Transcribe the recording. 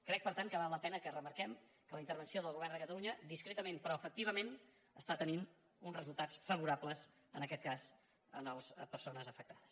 crec per tant que val la pena que remarquem que la intervenció del govern de catalunya discretament però efectivament està tenint uns resultats favorables en aquest cas a les persones afectades